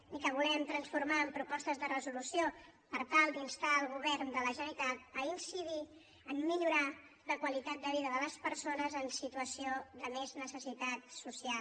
i que volem transformar en propostes de resolució per tal d’instar al govern de la generalitat a incidir a millorar la qualitat de vida de les persones en situació de més necessitat social